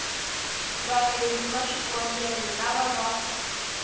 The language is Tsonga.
vaendli va swikombelo lava va